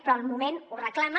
però el moment ho reclama